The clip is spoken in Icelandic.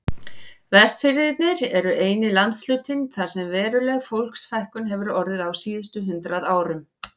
Vestfirðir eru eini landshlutinn þar sem veruleg fólksfækkun hefur orðið á síðustu hundrað árum.